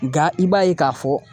Nka i b'a ye k'a fɔ